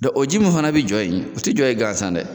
Dɔ o ji mun fana bɛ jɔ ye o tɛ jɔ ye ganzan dɛ.